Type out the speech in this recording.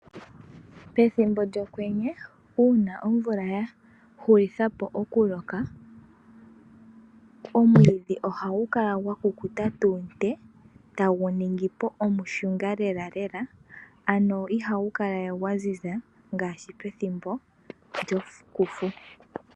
Pethimbo lyokwenye, uuna omvula ya hulitha po oku loka, omwiidhi oha gu kala gwa kukuta tuu nte, ta gu ningipo omushunga lela lela. Ano iha gu kala we gwa ziza ngaashi u lyokufu.